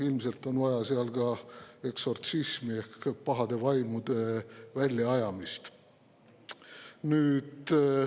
Ilmselt on vaja seal ka eksortsismi ehk pahade vaimude väljaajamist.